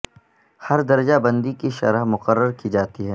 ہر درجہ بندی کی شرح مقرر کی جاتی ہے